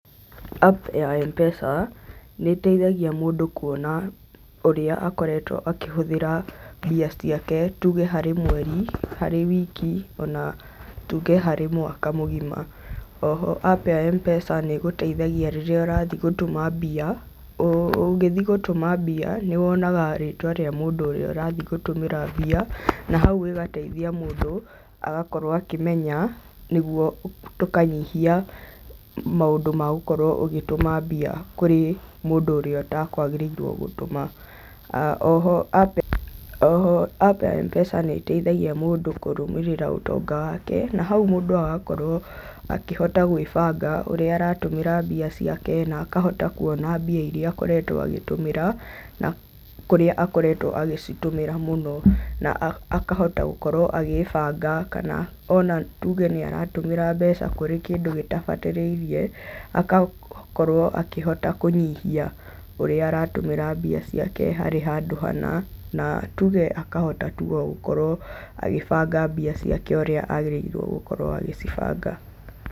Apu ya Mpesa nĩĩteithagia mũndũ kuona ũrĩa akoretwo akĩhũthĩra mbia ciake tuge harĩ mweri, harĩ wiki ona tuge harĩ mwaka mũgima. Oho apu ya Mpesa nĩĩgũteithagia rĩrĩa ũrathiĩ gũtũma mbia, ũgĩthiĩ gũtũma mbia nĩwonaga rĩtwa rĩa mũndũ ũrĩa ũrathiĩ gũtũmĩra mbia, na hau ĩgateithia mũndũ agakorwo akĩmenya nĩguo tũkanyihia maũndũ ma gũkorwo ũgĩtũma mbia kũrĩ mũndũ ũrĩa ũtekwagĩrĩirwo gũtũma. Oho apu oho ya apu ya Mpesa nĩĩteithaia mũndũ kũrũmĩrĩra ũtonga wake, na hau maũndũ agakorwo akĩhota gwĩbanga ũrĩa aratũmĩra mbia ciake na akahota kuona mbia iria akoretwo agĩtũmĩra na kũrĩa akoretwo agĩcitũmĩra mũno, na akahota gũkorwo agĩbanga kana ona tuge nĩaratũmĩra mbeca kũrĩ kĩndũ gĩtabatarĩirie, agakorwo akĩhota kũnyihia ũrĩa aratũmĩra mbeca ciake harĩ handũ hana, na tuge akahota tu ogũkorwo agĩbanga mbia ciake ũrĩa agĩrĩirwo gũkorwo agĩcibanga.